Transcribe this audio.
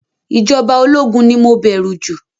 Ìjọba ológun ni mo bẹ̀rù jù